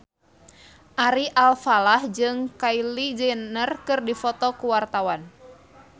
Ari Alfalah jeung Kylie Jenner keur dipoto ku wartawan